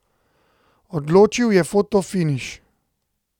Odločil je fotofiniš.